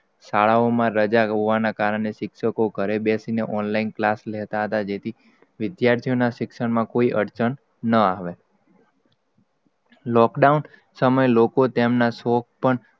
શાળાઓમાં રજા હોવાના કારણે, શિક્ષકો ઘરે બેસીને ઓનલાઈન ક્લાસ લેતા હતા. જેથી વિદ્યાર્થી ઓ ના શિક્ષણ માં કોઈ અર્ચણ ના આવે. lockdown સેમય લોકો તેમના સોખ પણ